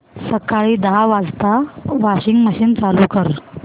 सकाळी दहा वाजता वॉशिंग मशीन चालू कर